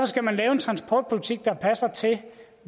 skal man lave en transportpolitik der passer til